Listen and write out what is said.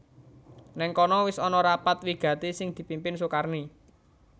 Nèng kono wis ana rapat wigati sing dipimpin Sukarni